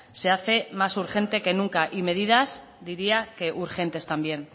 se hace más urgente que nunca y medidas diría que urgentes también